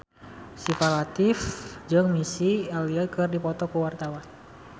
Syifa Latief jeung Missy Elliott keur dipoto ku wartawan